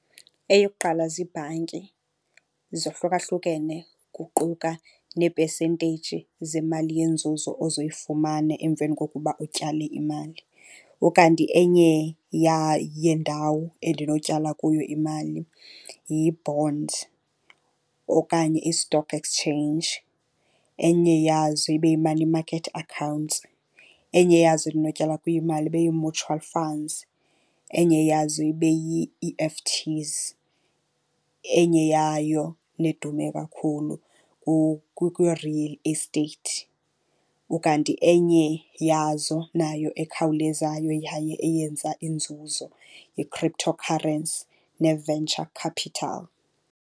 Eyokuqala ziibhanki zohlukahlukene kuquka neepesenteyiji zemali yenzuzo ozoyifumana emveni kokuba utyale imali. Ukanti enye yeendawo endinotyala kuyo imali yi-bond okanye i-stock exchange. Enye yazo ibe yi-money market accounts, enye yazo endinotyala kuyo imali ibe yi-mutual funds, enye yazo ibe yi-E_F_Ts. Enye yayo nedume kakhulu kwi-real estate, ukanti enye yazo nayo ekhawulezayo yaye eyenza inzuzo yi-cryptocurrency ne-venture capital.